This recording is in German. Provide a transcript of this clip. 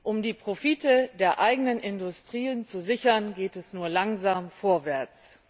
Um die Profite der eigenen Industrien zu sichern, gehen sie nur langsam vorwärts.